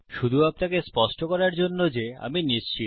শুধু আপনাকে স্পষ্ট করার জন্য যে আমি নিশ্চিত